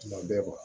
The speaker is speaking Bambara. Tuma bɛɛ